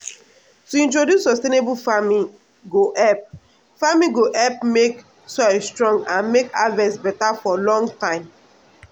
to introduce sustainable farming go help farming go help make soil strong and make harvest beta for long time.